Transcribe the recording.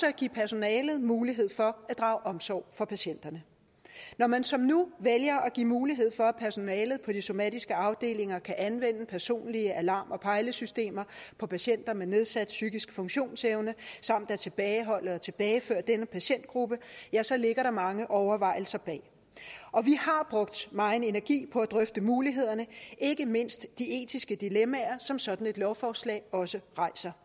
at give personalet mulighed for at drage omsorg for patienterne når man som nu vælger at give mulighed for at personalet på de somatiske afdelinger kan anvende personlige alarm og pejlesystemer på patienter med nedsat psykisk funktionsevne og tilbageholde og tilbageføre denne patientgruppe ja så ligger der mange overvejelser bag og vi har brugt megen energi på at drøfte mulighederne og ikke mindst de etiske dilemmaer som sådan et lovforslag også rejser